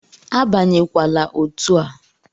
Abanyekwala otu a!